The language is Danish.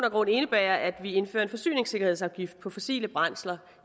og grund indebærer at vi indfører en forsyningssikkerhedsafgift på fossile brændsler